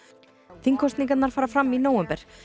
þingkosningarnar fara fram í nóvember